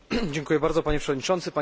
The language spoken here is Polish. Dziękuję bardzo, Panie Przewodniczący!